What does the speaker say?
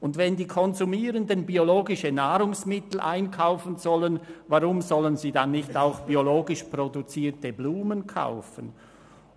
Wenn die Konsumierenden biologische Nahrungsmittel einkaufen sollen, weshalb sollen sie nicht auch biologisch produzierte Blumen kaufen